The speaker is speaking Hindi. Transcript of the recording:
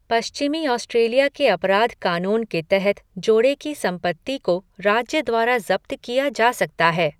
पश्चिमी ऑस्ट्रेलिया के अपराध कानून के तहत जोड़े की संपत्ति को राज्य द्वारा जब्त किया जा सकता है।